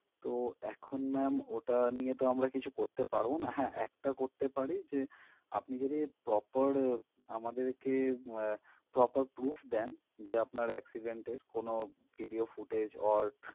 তো এখন ma'am ওটা নিয়ে তো আমরা কিছু করতে পারবো না হ্যাঁ একটা করতে পারি যে আপনি যদি proper আমাদেরকে আহ proper proof দেন যে আপনার accident এর video footage or